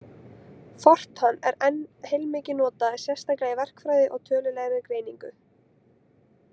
FORTRAN er enn heilmikið notað, sérstaklega í verkfræði og tölulegri greiningu.